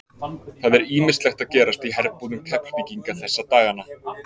Það er ýmislegt að gerast í herbúðum Keflvíkinga þessa dagana.